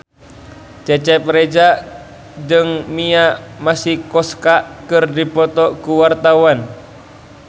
Cecep Reza jeung Mia Masikowska keur dipoto ku wartawan